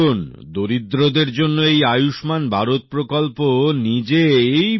দেখুন দরিদ্রদের জন্য এই আয়ুষ্মান ভারত প্রকল্প নিজেই